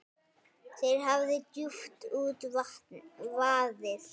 Þér hafi djúpt út vaðið.